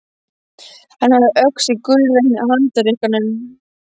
Hann hafði öxi gullrekna í handarkrikanum.